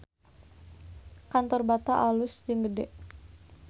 Kantor Bata alus jeung gede